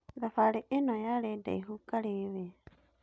Thabarĩ ĩno yarĩ ndaihũ karĩwe.